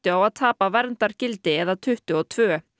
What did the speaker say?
á að tapa verndargildi eða tuttugu og tvö